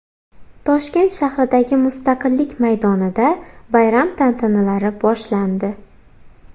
Toshkent shahridagi Mustaqillik maydonida bayram tantanalari boshlandi .